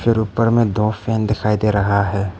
ऊपर में दो फैन दिखाई दे रहा है।